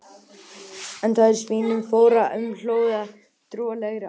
Þar er svínum fórnað sem hluti af trúarlegri athöfn.